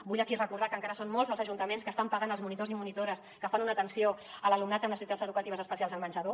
vull aquí recordar que encara són molts els ajuntaments que estan pagant els monitors i monitores que fan una atenció a l’alumnat amb necessitats educatives especials al menjador